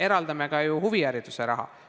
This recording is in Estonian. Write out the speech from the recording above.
Me eraldame ka ju huviharidusele raha.